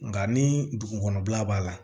Nka ni dugukɔnɔ b'a la